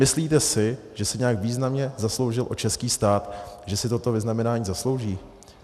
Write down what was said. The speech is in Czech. Myslíte si, že se nějak významně zasloužil o český stát, že si toto vyznamenání zaslouží?